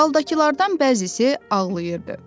Zaldakılardan bəzisi ağlayırdı.